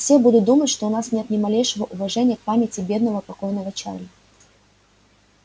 все будут думать что у вас нет ни малейшего уважения к памяти бедного покойного чарли